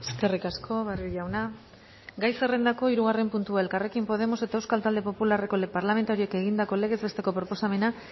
eskerrik asko barrio jauna gai zerrendako hirugarren puntua elkarrekin podemos eta euskal talde popularreko parlamentarioek egindako legez besteko proposamena